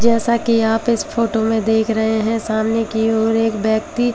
जैसा कि आप इस फोटो में देख रहे हैं सामने की ओर एक व्यक्ति--